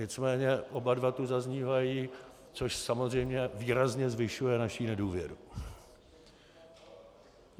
Nicméně oba dva tu zaznívají, což samozřejmě výrazně zvyšuje naši nedůvěru.